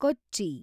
ಕೊಚ್ಚಿ